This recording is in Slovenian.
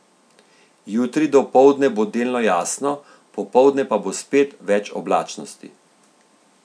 Jutri dopoldne bo delno jasno, popoldne pa bo spet več oblačnosti.